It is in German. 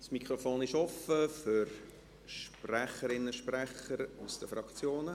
Das Mikrofon ist offen für Sprecherinnen und Sprecher aus den Fraktionen.